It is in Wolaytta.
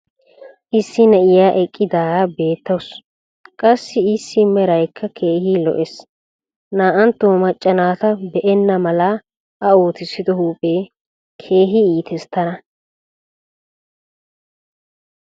issi na'iya eqqidaara beetawusu. qassi issi meraykka keehi lo''ees. naa''antto macca naata be'enna mala a ootissido huuphee keehi iittees tana.